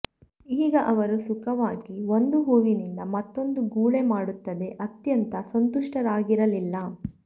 ಈಗ ಅವರು ಸುಖವಾಗಿ ಒಂದು ಹೂವಿನಿಂದ ಮತ್ತೊಂದಕ್ಕೆ ಗುಳೆ ಮಾಡುತ್ತದೆ ಅತ್ಯಂತ ಸಂತುಷ್ಟರಾಗಿರಲಿಲ್ಲ